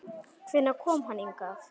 Hvenær kom hann hingað?